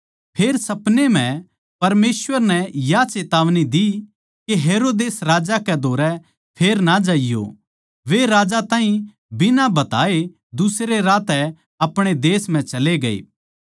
फेर सपनै म्ह परमेसवर नै या चेतावनी दी के हेरोदेस राजा कै धोरै फेर ना जाइयो वे राजा ताहीं बिना बताये दुसरे राह तै अपणे देश म्ह चले ग्ये